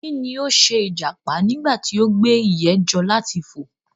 Kí ni o ṣe ìjàpá nígbà tí o gba ìyè jọ láti fò?